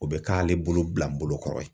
O bɛ k'ale bolo bila n bolo kɔrɔ ye.